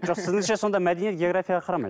сіздіңше сонда мәдениет географияға қарамайды